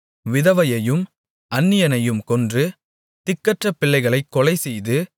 விதவையையும் அந்நியனையும் கொன்று திக்கற்ற பிள்ளைகளைக் கொலைசெய்து